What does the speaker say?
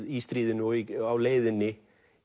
í stríðinu og á leiðinni